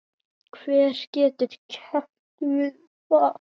Hver getur keppt við það?